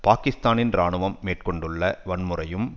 பாக்கிஸ்தானின் இராணுவம் மேற்கொண்டுள்ள வன்முறையும்